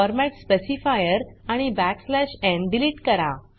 format specifier आणि n delete करा